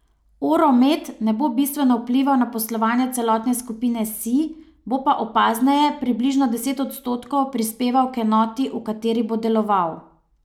Oro Met ne bo bistveno vplival na poslovanje celotne skupine Sij, bo pa opazneje, približno deset odstotkov, prispeval k enoti, v kateri bo deloval.